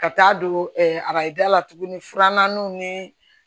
Ka taa don arajo da la tuguni furananw ni